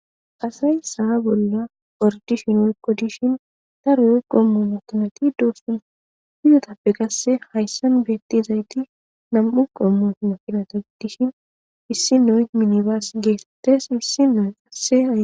Asayi saha bolla ordishin ulqo dishin ta ruu qommo makanati doostan fiyotappe qasse hayssan beettizayti nam'u qommo maqilata giddishin issi noy minibaas geetetes issi noe qasse.